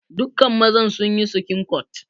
Dukka mazan sun yi skincut.